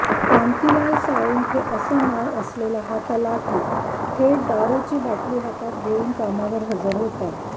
कांतिलाल साळुंखे असं नाव असलेला हा तलाठी थेट दारुची बाटली हातात घेऊन कामावर हजर होता